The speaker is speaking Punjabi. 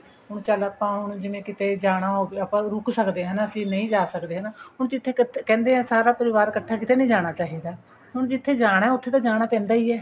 ਹੁਣ ਚਲ ਆਪਾਂ ਹੁਣ ਕਿਤੇ ਜਾਣਾ ਹੋਵੇ ਆਪਾਂ ਰੁਕ ਸਕਦੇ ਹਾਂ ਹਨਾ ਅਸੀਂ ਨਹੀਂ ਜਾ ਸਕਦੇ ਹਨਾ ਹੁਣ ਜਿੱਥੇ ਕਹਿੰਦੇ ਹਾਂ ਸਾਰਾ ਪਰਿਵਾਰ ਕੱਠਾ ਕਿੱਤੇ ਨਹੀਂ ਜਾਣਾ ਚਾਹੀਦਾ ਹੁਣ ਜਿੱਥੇ ਜਾਣਾ ਉੱਥੇ ਤਾਂ ਜਾਣਾ ਪੈਂਦਾ ਹੀ ਹੈ